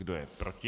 Kdo je proti?